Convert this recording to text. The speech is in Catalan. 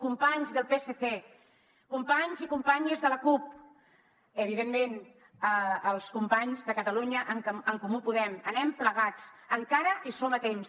companys del psc companys i companyes de la cup evidentment els companys de catalunya en comú podem anem plegats encara hi som a temps